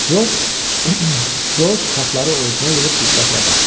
Corc kartları ovucuna yığıb diqqətlə baxdı.